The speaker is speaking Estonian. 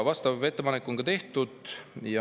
Vastav ettepanek on ka tehtud.